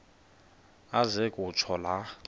aze kutsho la